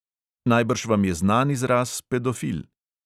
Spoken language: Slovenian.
"Najbrž vam je znan izraz pedofil?"